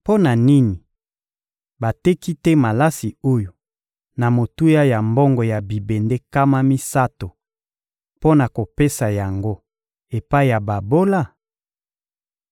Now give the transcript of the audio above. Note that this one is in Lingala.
— Mpo na nini bateki te malasi oyo na motuya ya mbongo ya bibende nkama misato mpo na kopesa yango epai ya babola?